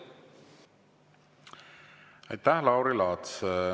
Aitäh, Lauri Laats!